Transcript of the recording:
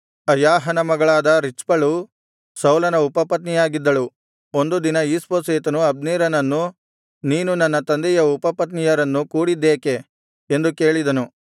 ಅಯಾಹನ ಮಗಳಾದ ರಿಚ್ಪಳು ಸೌಲನ ಉಪಪತ್ನಿಯಾಗಿದ್ದಳು ಒಂದು ದಿನ ಈಷ್ಬೋಶೆತನು ಅಬ್ನೇರನನ್ನು ನೀನು ನನ್ನ ತಂದೆಯ ಉಪಪತ್ನಿಯರನ್ನು ಕೂಡಿದ್ದೇಕೆ ಎಂದು ಕೇಳಿದನು